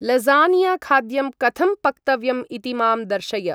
Lasagne खाद्यं कथं पक्तव्यम् इति मां दर्शय ।